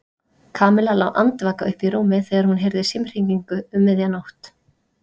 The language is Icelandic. Kamilla lá andvaka uppi í rúmi þegar hún heyrði símhringingu um miðja nótt.